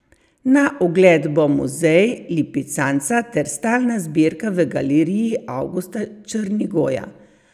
Na ogled bo muzej lipicanca ter stalna zbirka v galeriji Avgusta Črnigoja.